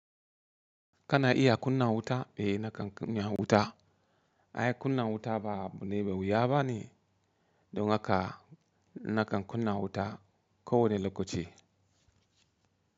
Kana iya kunna wuta? Eh nakan kunna wuta. Ai kunna wuta ba abu ne me wuya bane, don haka nakan kunna wuta ko wane lokaci.